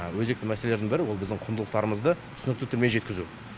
өзекті мәселелерінің бірі ол біздің құндылықтарымызды түсінікті тілмен жеткізу